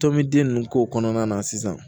Tɔnmin k'o kɔnɔna na sisan